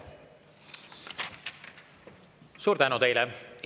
Suur tänu teile!